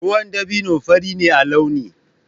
Ruwan dabino fari ne a launi.